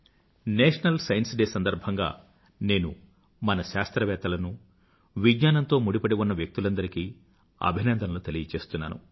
national science day సందర్భంగా నేను మన శాస్త్రవేత్తలను విజ్ఞానంతో ముడిపడి ఉన్న వ్యక్తులందరికీ అభినందనలు తెలియచేస్తున్నాను